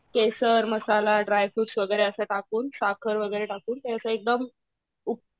केसर, masala, dry fruits वगैरे असं टाकून, साखर वगैरे टाकून त्याचा एकदम